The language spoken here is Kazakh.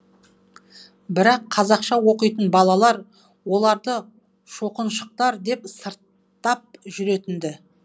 бірақ қазақша оқитын балалар оларды шоқыншықтар деп сырттап жүретін ді